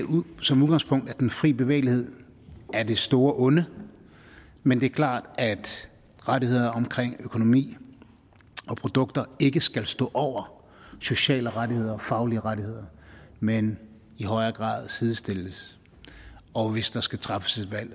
som udgangspunkt at den fri bevægelighed er det store onde men det er klart at rettighederne omkring økonomi og produkter ikke skal stå over sociale rettigheder og faglige rettigheder men i højere grad sidestilles og hvis der skal træffes et valg